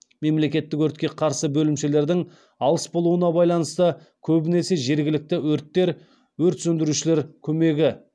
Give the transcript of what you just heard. мемлекеттік өртке қарсы бөлімшелердің алыс болуына байланысты көбінесе жергілікті өрттер өрт сөндірушілер көмегі